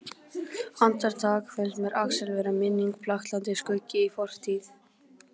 Andartak finnst mér Axel vera minning, blaktandi skuggi í fortíð.